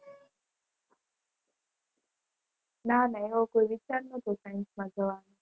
ના ના એવો કોઈ વિચાર નહોતો સાયન્સમાં જવાનું.